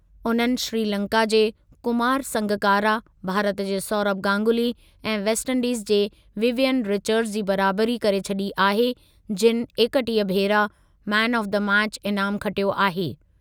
उन्हनि श्रीलंका जे कुमार संगकारा, भारत जे सौरभ गांगुली ऐं वेस्ट इंडीज जे विवियन रिचर्ड्स जी बराबरी करे छॾी आहे जिनि एकटीह भेरा मैन ऑफ द मैचु इनामु खटियो आहे।